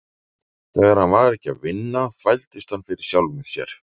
Þegar hann var ekki að vinna þvældist hann fyrir sjálfum sér.